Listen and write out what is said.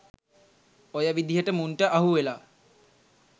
ඔය විදිහට මුන්ට අහුවෙලා